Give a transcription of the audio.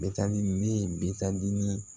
Bɛtan ne ye bitan ni